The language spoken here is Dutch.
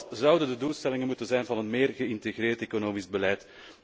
Wat zouden de doelstellingen moeten zijn van een meer geïntegreerd economisch beleid?